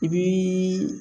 I bi